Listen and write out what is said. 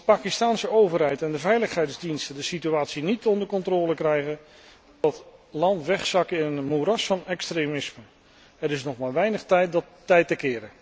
Als de Pakistaanse overheid en de veiligheidsdiensten de situatie niet onder controle krijgen, zal het land wegzakken in een moeras van extremisme. Er is nog maar weinig tijd om dat tij te keren.